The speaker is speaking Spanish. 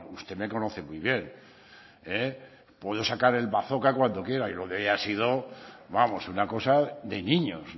usted me conoce muy bien puedo sacar el bazzoka cuando quiera y lo de hoy ha sido vamos una cosa de niños